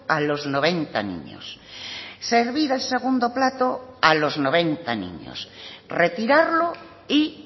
a los noventa niños servir el segundo plato a los noventa niños retirarlo y